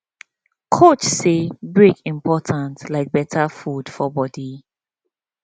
coach say break important like better food for body